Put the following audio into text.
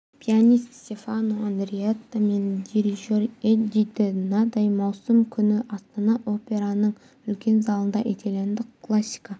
пианист стефано андреатта мен дирижер эдди де надаи маусым күні астана операның үлкен залында итальяндық классика